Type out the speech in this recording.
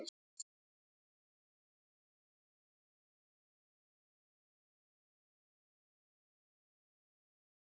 Læt mig hverfa um stund.